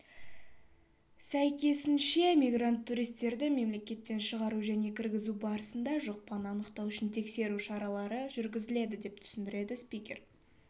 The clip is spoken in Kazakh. сәйкесінше мигрант-туристерді мемлекеттен шығару және кіргізу барысында жұқпаны анықтау үшін тексеру шаралары жүргізіледі деп түсіндірді спикер